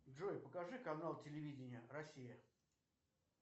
джой покажи канал телевидения россия